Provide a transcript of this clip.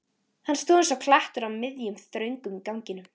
Hann stóð eins og klettur á miðjum, þröngum ganginum.